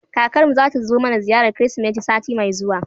Kakar mu zata zo mana ziyarar Kirsimeti sati mai zuwa.